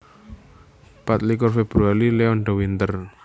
Patlikur Februari Leon de Winter